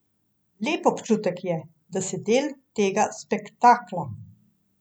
Lep občutek je, da si del tega spektakla.